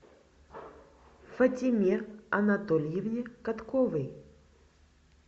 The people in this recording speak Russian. фатиме анатольевне катковой